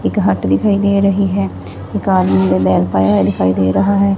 ਇੱਕ ਹਟ ਦਿਖਾਈ ਦੇ ਰਹੀ ਹੈ ਇੱਕ ਆਦਮੀ ਬਨੈਨ ਪਾਇਆ ਹੋਇਆ ਦਿਖਾਈ ਦੇ ਰਿਹਾ ਹੈ।